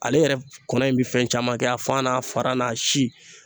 Ale yɛrɛ kɔnɔ in bɛ fɛn caman kɛ a faga n'a fara n'a si.